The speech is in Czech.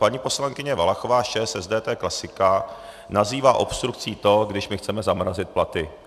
Paní poslankyně Valachová z ČSSD, to je klasika, nazývá obstrukcí to, když my chceme zamrazit platy.